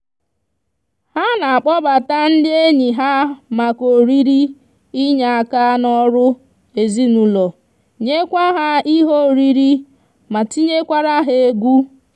ha n'akpobata ndi enyi ha maka oriri inye aka n'oru ezinaulo nyekwa ha ihe oriri ma tinyekwara ha egwu